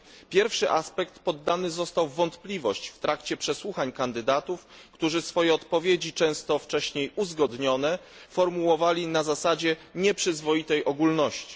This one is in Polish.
Pierwszy aspekt poddany został w wątpliwość w trakcie przesłuchań kandydatów, którzy swoje odpowiedzi, często wcześniej uzgodnione, formułowali na zasadzie nieprzyzwoitej ogólności.